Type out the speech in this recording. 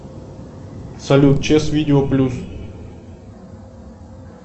салют час видео плюс